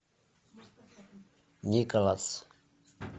николас